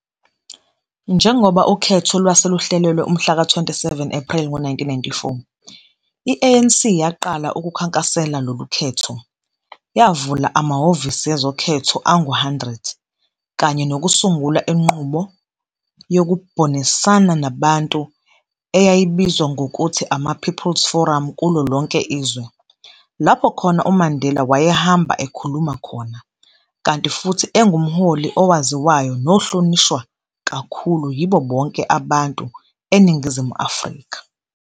Njengoba ukhetho lwase luhlelelwe umhla ka 27 Epreli ngo-1994, i-ANC yaqala ukukhankasela lolu khetho, yavula amahovisi ezokhetho angu 100, kanye nokusungula inqubo yokubhonisana nabantu eyayibizwa ngokuthi ama-People's Forums kulo lonke izwe, lapho khona uMandela wayehamba ekhuluma khona, kanti futhi engumholi owaziwayo nohlonishwa kakhulu yibo bonke abantu eNingizimu Afrika.